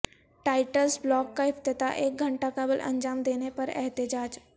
toilets block کا افتتاح ایک گھنٹہ قبل انجام دینے پر احتجاج